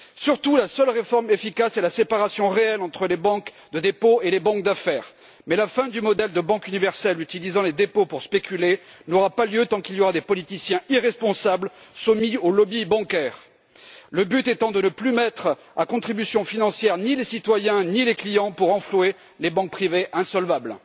Surtout, la seule réforme efficace est la séparation réelle entre les banques de dépôt et les banques d'affaires mais la fin du modèle de banque universelle, utilisant les dépôts pour spéculer, n'aura pas lieu tant qu'il y aura des politiciens irresponsables soumis au lobby bancaire le but étant de ne plus mettre à contribution financière ni les citoyens ni les clients pour renflouer les banques privées insolvables.